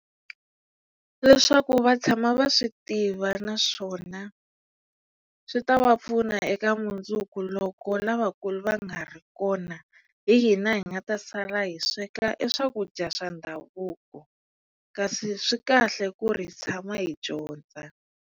Leswaku va tshama va swi tiva naswona swi ta va pfuna eka mundzuku loko lavakulu va nga ri kona hi hina hi nga ta sala hi sweka e swakudya swa ndhavuko kasi swi kahle ku ri hi tshama hi dyondza.